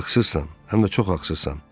Haqsızsan, həm də çox haqsızsan.